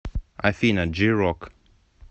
афина джи рок